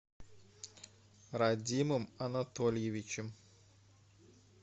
радимом анатольевичем